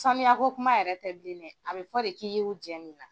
Sanuyako kuma yɛrɛ tɛ bilen dɛ a bɛ fɔ de k'i y'u jɛ mun na?